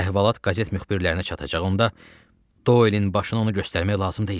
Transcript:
Əhvalat qəzet müxbirlərinə çatacağında Doelin başını ona göstərmək lazım deyildi.